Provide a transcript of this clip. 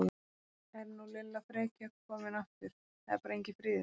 Er nú Lilla frekja komin aftur, það er bara enginn friður!